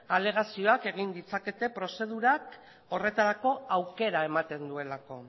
alegazioak egin ditzakete prozedurak horretarako aukera ematen duelako